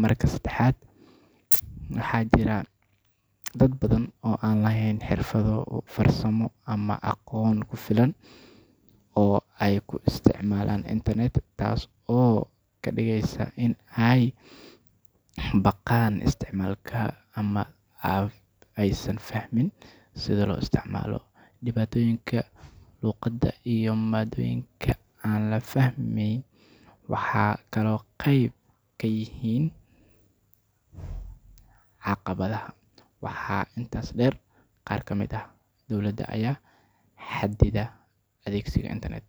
Marka saddexaad, waxaa jira dad badan oo aan lahayn xirfado farsamo ama aqoon ku filan oo ay ku isticmaalaan internet, taas oo ka dhigaysa in ay ka baqaan isticmaalka ama aysan fahmin sida loo isticmaalo. Dhibaatooyinka luqadda iyo maadooyinka aan la fahmin waxay kaloo qayb ka yihiin caqabadaha. Waxaa intaas dheer, qaar ka mid ah dawladaha ayaa xaddida adeegsiga internet.